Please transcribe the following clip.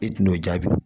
E tun y'o jaabi